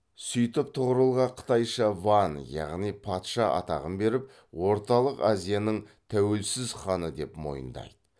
сөйтіп тұғырылға қытайша ван яғни патша атағын беріп орталық азияның тәуелсіз ханы деп мойындайды